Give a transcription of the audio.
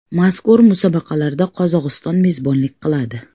Mazkur musobaqalarga Qozog‘iston mezbonlik qiladi.